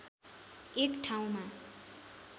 एक ठाउँमा